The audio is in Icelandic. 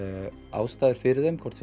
ástæður fyrir þeim hvort